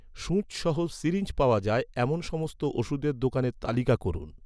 সুচ সহ সিরিঞ্জ পাওয়া যায়, এমন সমস্ত ওষুধের দোকানের তালিকা করুন